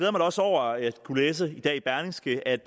også over at kunne læse i dag i berlingske at